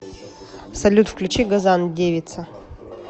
салют включи газан девица